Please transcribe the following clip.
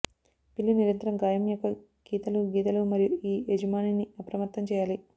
పిల్లి నిరంతరం గాయం యొక్క గీతలు గీతలు మరియు ఈ యజమానిని అప్రమత్తం చేయాలి